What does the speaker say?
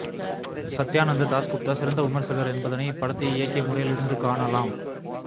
சத்தியானந்த தாஸ்குப்தா சிறந்த விமர்சகர் என்பதனை இப்படத்தை இயக்கிய முறையில் இருந்து காணலாம்